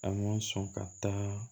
A ma sɔn ka taa